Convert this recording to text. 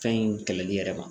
Fɛn in kɛlɛli yɛrɛ ma